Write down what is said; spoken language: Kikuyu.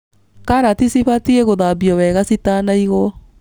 Karati cibatie gũthambio wega citanaigwo.